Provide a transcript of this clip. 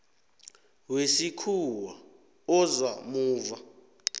wesikhuwa oza muva